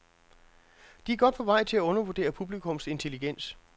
De er godt på vej til at undervurdere publikums intelligens.